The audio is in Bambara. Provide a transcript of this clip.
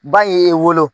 Ba ye e wolo